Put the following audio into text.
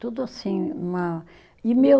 Tudo assim, uma, e meu